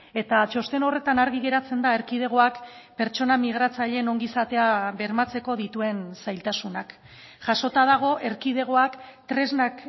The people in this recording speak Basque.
eta txosten horretan argi geratzen da erkidegoak pertsona migratzaileen ongizatea bermatzeko dituen zailtasunak jasota dago erkidegoak tresnak